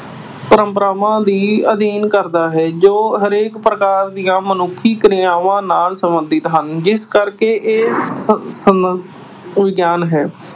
ਪਰੰਪਰਾਵਾਂ ਦਾ ਅਧਿਐਨ ਕਰਦਾ ਹੈ ਜੋ ਹਰੇਕ ਪ੍ਰਕਾਰ ਦੀਆਂ ਮਨੁੱਖੀ ਕਿਰਆਵਾਂ ਨਾਲ ਸਬੰਧਤ ਹਨ ਜਿਸ ਕਰਕੇ ਇਹ ਸਮਾਜਿਕ ਵਿਗਿਆਨ ਹੈ।